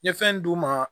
N ye fɛn d'u ma